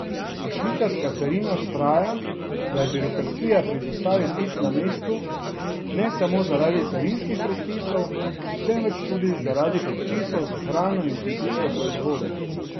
A švicarska carina vztraja, da je birokracija pri dostavi pic na mestu, ne samo zaradi carinskih predpisov, temveč tudi zaradi predpisov za hrano in kmetijske proizvode.